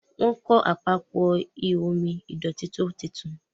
Wón kò Àpapọ̀ ihò omi ìdọ̀tító títún.